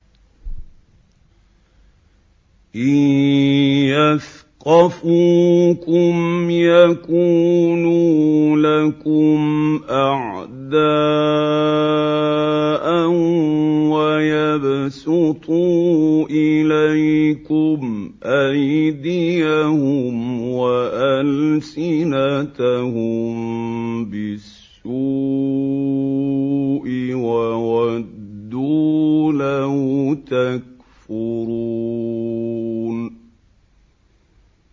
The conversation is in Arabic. إِن يَثْقَفُوكُمْ يَكُونُوا لَكُمْ أَعْدَاءً وَيَبْسُطُوا إِلَيْكُمْ أَيْدِيَهُمْ وَأَلْسِنَتَهُم بِالسُّوءِ وَوَدُّوا لَوْ تَكْفُرُونَ